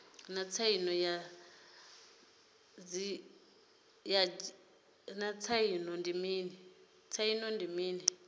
naa tsaino ya didzhithala ndi mini